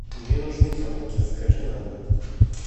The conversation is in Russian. мне нужны яблоки закажи на дом